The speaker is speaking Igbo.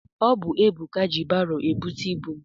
Ọ bụ Ebuka ji baro ebute ibu m.